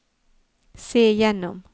se gjennom